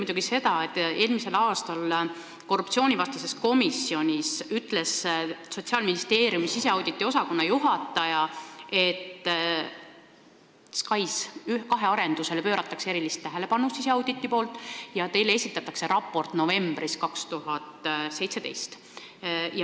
Eelmisel aastal ütles Sotsiaalministeeriumi siseauditi osakonna juhataja korruptsioonivastases komisjonis, et nad pööravad SKAIS2 arendusele erilist tähelepanu ja teile esitatakse raport novembris 2017.